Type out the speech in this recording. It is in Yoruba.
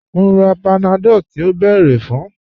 Mo n rà Panadol tí o bẹ́ẹ̀rẹ̀ fun